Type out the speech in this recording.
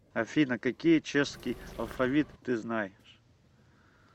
афина какие чешский алфавит ты знаешь